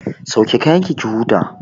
Sauke kayanki ki huta!